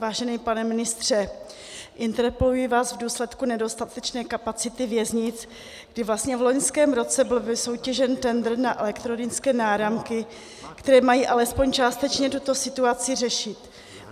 Vážený pane ministře, interpeluji vás v důsledku nedostatečné kapacity věznic, kdy vlastně v loňském roce byl vysoutěžen tendr na elektronické náramky, které mají alespoň částečně tuto situaci řešit.